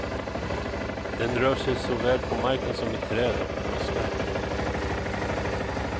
Den rör sig såväl på marken som i träd och buskar.